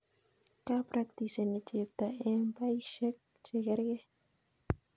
ka practiseni chepto eng baishek che kergei